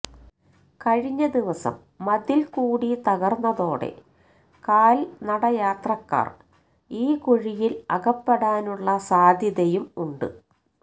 കഴിഞ്ഞദിവസം മതില്കൂടി തകര്ന്നതോടെ കാല്നടയാത്രക്കാര് ഈ കുഴിയില് അകപ്പെടാനുള്ള സാധ്യതയും ഉണ്ട്